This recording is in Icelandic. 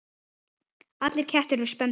Allir kettir eru spendýr